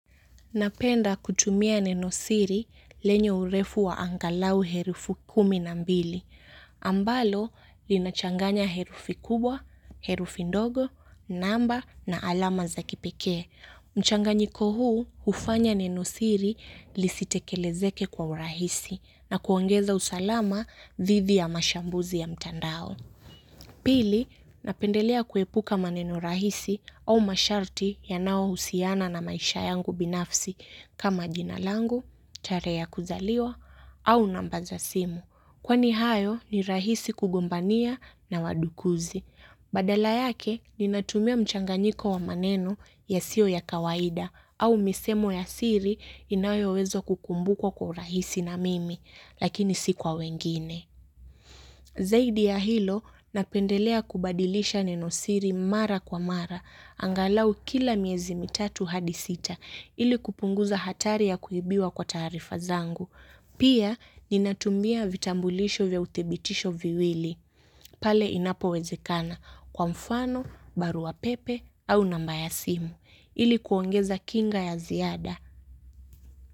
Napenda kutumia nenosiri lenye urefu wa angalau herufi kumi na mbili. Ambalo linachanganya herufi kubwa, herufi ndogo, namba na alama za kipekee. Mchanganyiko huu hufanya nenosiri lisitekelezeke kwa urahisi na kuongeza usalama dhidi ya mashambuzi ya mtandao. Pili napendelea kuepuka maneno rahisi au masharti yanaohusiana na maisha yangu binafsi. Kama jina langu, tarehe ya kuzaliwa, au namba za simu. Kwani hayo ni rahisi kugombania na wadukuzi. Badala yake ninatumia mchanganyiko wa maneno yasiyo ya kawaida au misemo ya siri inayowezwa kukumbukwa kwa urahisi na mimi, lakini si kwa wengine. Zaidi ya hilo napendelea kubadilisha nenosiri mara kwa mara angalau kila miezi mitatu hadi sita ili kupunguza hatari ya kuibiwa kwa taarifa zangu. Pia ninatumia vitambulisho vya uthibitisho viwili. Pale inapowezekana kwa mfano, barua pepe au namba ya simu. Ili kuongeza kinga ya ziada.